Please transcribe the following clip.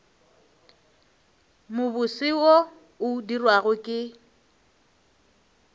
mobose wo o dirwago ke